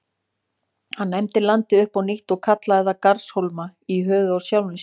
Hann nefndi landið upp á nýtt og kallaði það Garðarshólma, í höfuðið á sjálfum sér.